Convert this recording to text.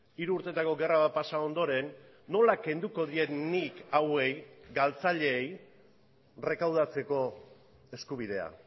hiru urtetako gerra bat pasa ondoren nola kenduko diet nik hauei galtzaileei errekaudatzeko eskubidea